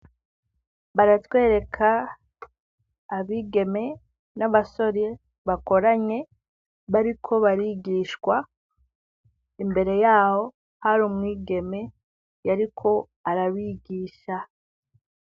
Baratwereka abigeme n'abasore bakoranye ,bariko barigishwa, imbere yabo, hari umwigeme yariko arabigisha.